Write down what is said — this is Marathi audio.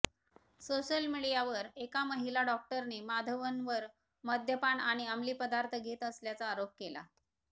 सोशल मीडियावर एका महिला डॉक्टरने माधवनवर मद्यपान आणि अमली पदार्थ घेत असल्याचा आरोप केला